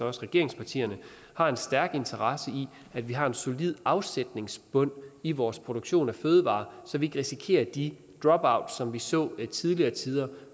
også regeringspartierne har en stærk interesse i at vi har en solid afsætningsbund i vores produktion af fødevarer så vi risikerer de dropout som vi så i tidligere tider